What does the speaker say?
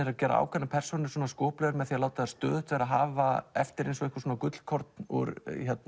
ákveðnar persónur skoplegar með því að láta þær stöðugt hafa eftir einhver gullkorn úr